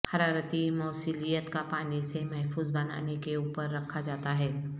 حرارتی موصلیت کا پانی سے محفوظ بنانے کے اوپر رکھا جاتا ہے